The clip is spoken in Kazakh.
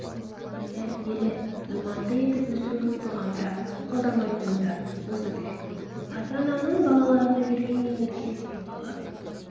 тәрбиелі иманды етіп өсіру дұғамда қалдырмайтыным да осы тілек ата-ананың балаларына берген ең үлкен сыйлығы